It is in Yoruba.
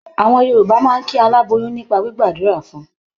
Àwọn Yorùbá máa ń kí aláboyún nípa gbígbàdúrà fun.